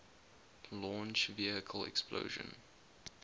launch vehicle explosion